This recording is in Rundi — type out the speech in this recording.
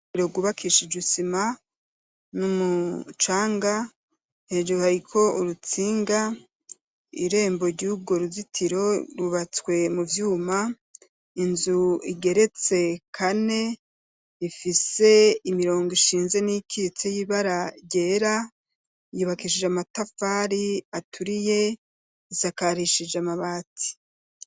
Uruzitiro gwubakishije isima n'umucanga ,hejuru hariko urutsinga, irembo ry'urwo ruzitiro rubatswe mu vyuma, inzu igeretse kane ifise imirongo ishinze n'ikyitse y'ibaragyera, yubakishije amatafari aturiye isakarishije amabati.